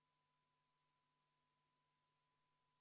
Ettepanekut toetab 3 rahvasaadikut, vastu on 56 rahvasaadikut.